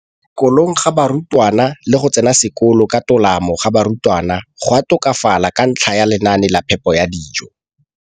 Kolong ga barutwana le go tsena sekolo ka tolamo ga barutwana go a tokafala ka ntlha ya lenaane la phepo ya dijo.